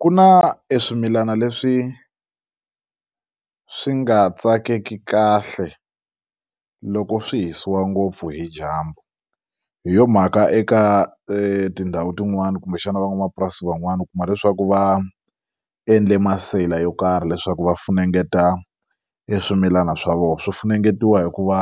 Ku na e swimilana leswi swi nga tsakeki kahle loko swi hisiwa ngopfu hi dyambu hi yo mhaka eka tindhawu tin'wani kumbexana van'wamapurasi van'wani u kuma leswaku va endle maseyila yo karhi leswaku va funengeta e swimilana swa vona swi funengetiwa hikuva